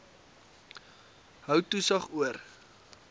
hou toesig oor